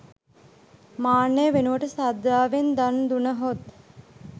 මාන්නය වෙනුවට ශ්‍රද්ධාවෙන් දන් දුනහොත්